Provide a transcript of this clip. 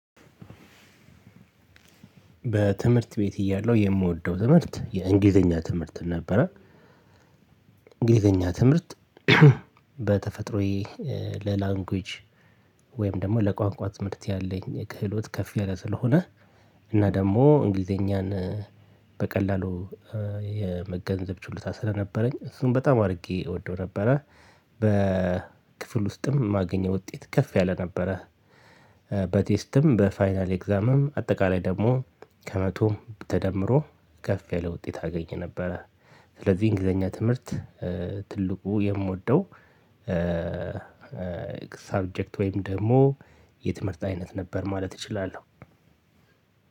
በትምህርት ቤት እያለው የምወደው ትምህርት የእንግሊዘኛ ትምህርትን ነበረ። እንግሊዘኛ ትምህርት በተፈጥሮዬ ለላንጉጅ ወይም ደግሞ ለቋንቋ ትምህርት ያለኝ ክህሎት ከፍ ያለ ስለሆነ እና ደግሞ እንግሊዘኛን በቀላሉ የመገንዘብ ችሎታ ስለነበረኝ እሱን በጣም አድርጌ እወደው ነበረ። በክፍል ውስጥም የማገኘው ውጤት ከፍ ያለ ነበረ። በቴስትም በፋይናል ኤግዛምም አጠቃላይ ደግሞ ከመቶም ተደምሮ ከፍ ያለ ውጤት አገኘ ነበረ። ስለዚህ እንግሊዘኛ ትምህርት ትልቁ የምወደው ሳብጀክት ወይም ደግሞ የትምህርት አይነት ነበር ማለት እችላለሁ።